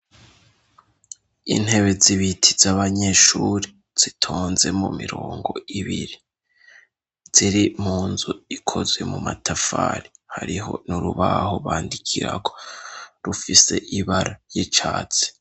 Intebe zibiti z'abanyeshuri zitonze mu mirongo ibiri ziri mu nzu ikozwe mu matafari, hariho n'urubaho bandikirako rufise ibara y'icatsi.